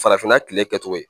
Farafinna kile kɛ cogo ye